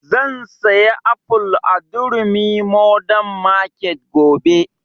Zan saya aful a durumi modern market gobe